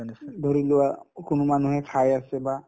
ধৰিলোৱা কোনো মানুহে খাই আছে বা